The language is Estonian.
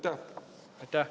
Aitäh!